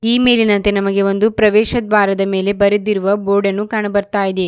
ಈ ಮೇಲಿನಂತೆ ನಮಗೆ ಒಂದು ಪ್ರವೇಶ ದ್ವಾರದ ಮೇಲೆ ಬರೆದಿರುವ ಬೋರ್ಡ್ ಅನ್ನು ಕಾಣು ಬರ್ತಾ ಇದೆ.